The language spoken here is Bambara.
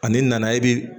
Ani nana i bi